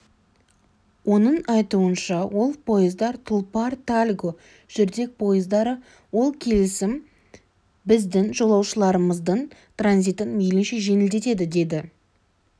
оның айтуынша ол поездар тұлпар тальго жүрдек поездары ол келісім біздің жолаушыларымыздың транзитін мейлінше жеңілдетеді деді